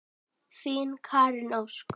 Þín, Karen Ósk.